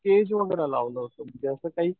स्टेजवगैरा लावलं होतं म्हणजे असं काही